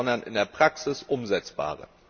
gibt, sondern in der Praxis umsetzbare.